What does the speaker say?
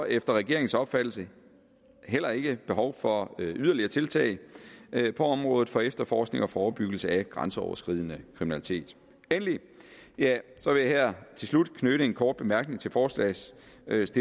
efter regeringens opfattelse heller ikke behov for yderligere tiltag på området for efterforskning og forebyggelse af grænseoverskridende kriminalitet endelig vil jeg til slut knytte en kort bemærkning til forslagsstillernes